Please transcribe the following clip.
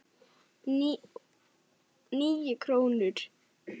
Níu krónur?